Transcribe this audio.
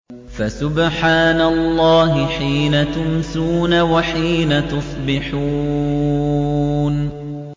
فَسُبْحَانَ اللَّهِ حِينَ تُمْسُونَ وَحِينَ تُصْبِحُونَ